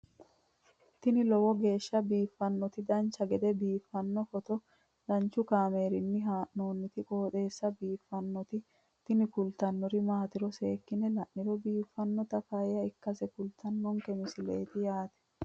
tini lowo geeshsha biiffannoti dancha gede biiffanno footo danchu kaameerinni haa'noonniti qooxeessa biiffannoti tini kultannori maatiro seekkine la'niro biiffannota faayya ikkase kultannoke misileeti yaate